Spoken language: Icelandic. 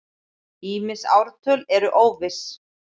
Ýmis ártöl eru óviss.